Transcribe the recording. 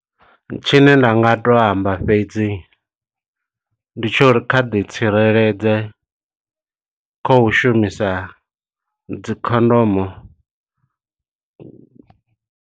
Tshine nda nga to amba fhedzi, ndi tsho uri kha ḓi tsireledze kho u shumisa dzikhondomo.